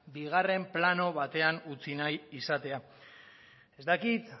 bigarren plano batean utzi nahi izatea ez dakit